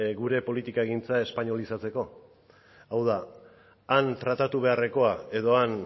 gure politikagintza espainolizatzeko hau da han tratatu beharrekoa edo han